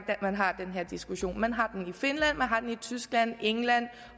man har den her diskussion man har den i finland man har den i tyskland england